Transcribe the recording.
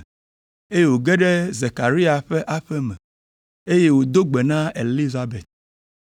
eye wòge ɖe Zekaria ƒe aƒe me, eye wòdo gbe na Elizabet.